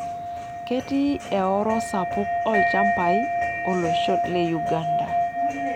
Ketii eoro sapuk oolchambai olosho le Uganda.